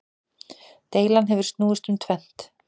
Deilan hefur snúist um tvennt.